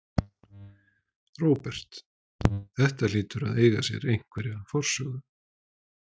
Róbert: Þetta hlýtur að eiga sér einhverja forsögu?